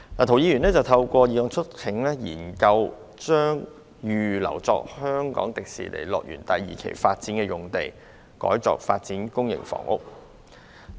涂議員透過議案促請政府研究將預留作香港迪士尼樂園第二期發展的用地，改作發展公營房屋。